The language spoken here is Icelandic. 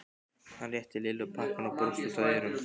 Hann rétti Lillu pakkann og brosti út að eyrum.